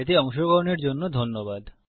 এতে অংশগ্রহনের জন্য ধন্যবাদ